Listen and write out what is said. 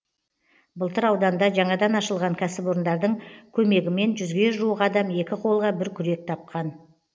былтыр ауданда жаңадан ашылған кәсіпорындардың көмегімен жүзге жуық адам екі қолға бір күрек тапқан